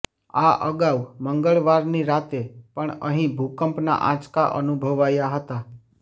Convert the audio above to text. આ અગાઉ મંગળવારની રાતે પણ અહીં ભૂકંપના આંચકા અનુભવાયાં હતા